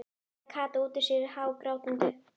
bunaði Kata út út sér hágrátandi.